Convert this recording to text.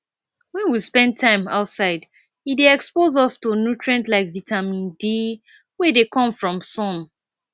when we spend time outside e dey expose us to nutrient like vitamine d wey dey come from sun